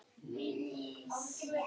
Leiðir þeirra skildu.